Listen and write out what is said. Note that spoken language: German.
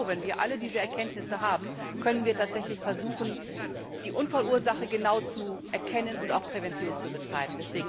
Denn nur, wenn wir alle diese Erkenntnisse haben, können wir tatsächlich versuchen, die Unfallursache genau zu erkennen und auch Prävention zu betreiben.